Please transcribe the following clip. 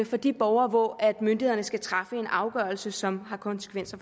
for de borgere hvor myndighederne skal træffe en afgørelse som har konsekvenser